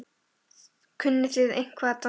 Þórhildur: Kunnið þið eitthvað að dansa ballett?